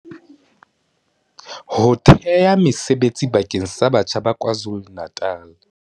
Ho thea mesebetsi bakeng sa batjha ba KwaZulu-Natal.